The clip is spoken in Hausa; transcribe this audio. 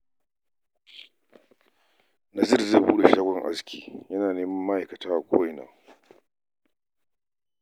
Nazir zai buɗe shagon aski yana neman ma'aikata a ko'ina